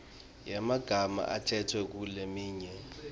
yemagama latsetfwe kuletinye